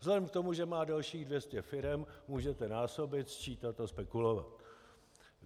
Vzhledem k tomu, že má dalších 200 firem, můžete násobit, sčítat a spekulovat.